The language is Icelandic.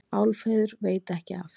Álfheiður veit ekki af